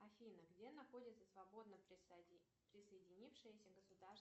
афина где находится свободно присоединившееся государство